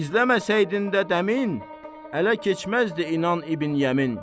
İzləməsəydin də dəmin, ələ keçməzdi inan İbn Yəmin.